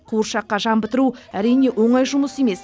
қуыршаққа жан бітіру әрине оңай жұмыс емес